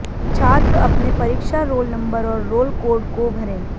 छात्र अपने परीक्षा रोल नंबर और रोल कोड को भरें